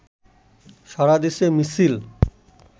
সারাদেশে মিছিল